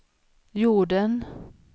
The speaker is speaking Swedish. jorden